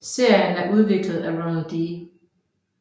Serien er udviklet af Ronald D